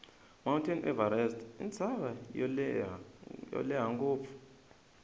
mount everest intsava yolehha ngopfu